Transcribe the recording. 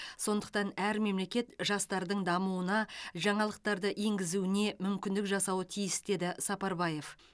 сондықтан әр мемлекет жастардың дамуына жаңалықтарды енгізуіне мүмкіндік жасауы тиіс деді сапарбаев